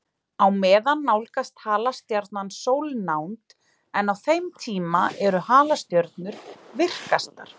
Á meðan nálgast halastjarnan sólnánd, en á þeim tíma eru halastjörnur virkastar.